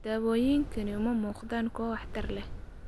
Daawooyinkani uma muuqdaan kuwo waxtar leh.